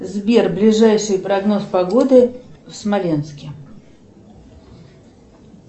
сбер ближайший прогноз погоды в смоленске